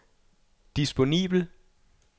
disponibel